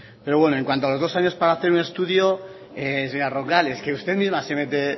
pero bueno en cuanto a los dos años para hacer un estudio señora roncal es que usted misma se mete